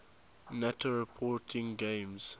nato reporting names